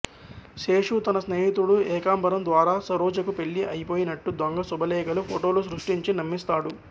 శేషు తన స్నేహితుడు ఏకాంబరం ద్వారా సరోజకు పెళ్ళి అయిపోయినట్టు దొంగ శుభలేఖలు ఫోటోలు సృష్టించి నమ్మిస్తాడు